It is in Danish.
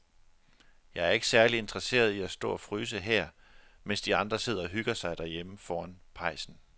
Jeg er ikke særlig interesseret i at stå og fryse her, mens de andre sidder og hygger sig derhjemme foran pejsen.